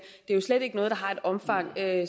jo slet ikke noget der har et omfang